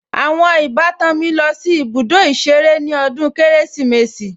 Àwọn ìbátan mi lọ sí ibùdó ìṣeré ní ọdún Kérésìmesì